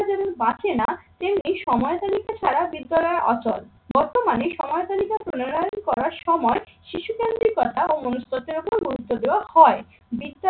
যেমন বাঁচে না তেমন এই সময়ের ছাড়া বিদ্যালয়ের অচল. বর্তমানে সময় তালিকা প্রনয়ন করার সময় শিশুদের কথা ও মনুষত্বের ওপর গুরুত্ব দেওয়া হয়।